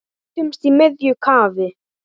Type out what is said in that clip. Mætumst í miðju kafi.